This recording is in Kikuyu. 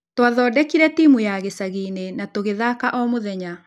Tũathondekire timu ya gĩchagi-inĩ na twathaka o mũthenya.